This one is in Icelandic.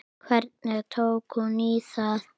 Hvernig tók hún í það?